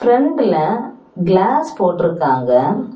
ஃப்ரெண்ட்ல class போட்றுகாங்க.